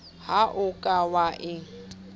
ha o ka wa e